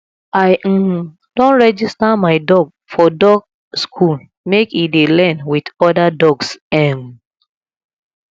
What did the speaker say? i um don register my dog for dog school make e dey learn wit oda dogs um